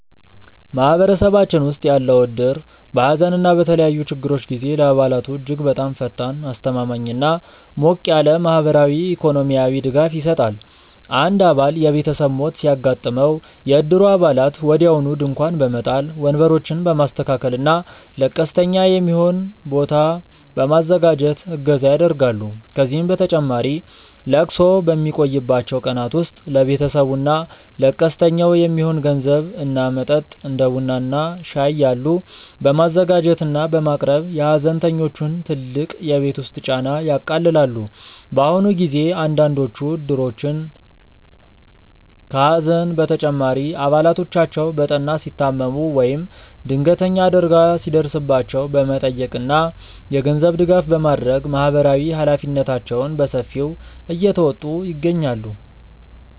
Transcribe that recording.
ማህበረሰባችን ውስጥ ያለው እድር በሐዘን እና በተለያዩ ችግሮች ጊዜ ለአባላቱ እጅግ በጣም ፈጣን፣ አስተማማኝ እና ሞቅ ያለ ማህበራዊና ኢኮኖሚያዊ ድጋፍ ይሰጣል። አንድ አባል የቤተሰብ ሞት ሲያጋጥመው፣ የእድሩ አባላት ወዲያውኑ ድንኳን በመጣል፣ ወንበሮችን በማስተካከል እና ለቀስተኛ የሚሆን ቦታ በማዘጋጀት እገዛ ያደርጋሉ። ከዚህም በተጨማሪ ለቅሶው በሚቆይባቸው ቀናት ውስጥ ለቤተሰቡ እና ለቀስተኛው የሚሆን ምግብ እና መጠጥ (እንደ ቡና እና ሻይ ያሉ) በማዘጋጀት እና በማቅረብ የሐዘንተኞቹን ትልቅ የቤት ውስጥ ጫና ያቃልላሉ። በአሁኑ ጊዜ አንዳንዶቹ እድሮች ከሐዘን በተጨማሪ አባላቶቻቸው በጠና ሲታመሙ ወይም ድንገተኛ አደጋ ሲደርስባቸው በመጠየቅ እና የገንዘብ ድጋፍ በማድረግ ማህበራዊ ኃላፊነታቸውን በሰፊው እየተወጡ ይገኛሉ።